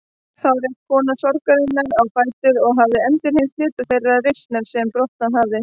Þá reis kona sorgarinnar á fætur og hafði endurheimt hluta þeirrar reisnar sem brotnað hafði.